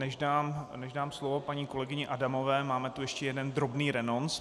Než dám slovo paní kolegyni Adamové, máme tam ještě jeden drobný renonc.